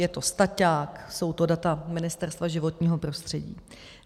Je to staťák, jsou to data Ministerstva životního prostředí.